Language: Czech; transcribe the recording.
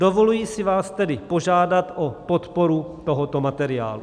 Dovoluji si vás tedy požádat o podporu tohoto materiálu.